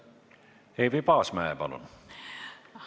Eevi Paasmäe, palun!